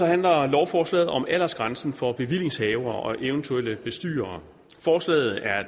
handler lovforslaget om aldersgrænsen for bevillingshavere og eventuelle bestyrere forslaget er